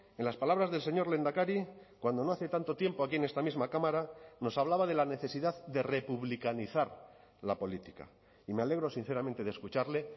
en las palabras del señor lehendakari cuando no hace tanto tiempo aquí en esta misma cámara nos hablaba de la necesidad de republicanizar la política y me alegro sinceramente de escucharle